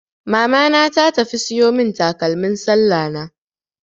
Mamana ta tafi siyo mun takalmin sallah na.